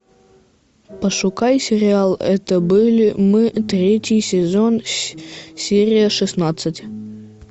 пошукай сериал это были мы третий сезон серия шестнадцать